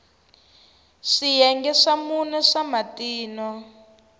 swiyenge swa mune swa matino